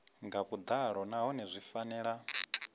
nga vhuḓalo nahone zwi fanela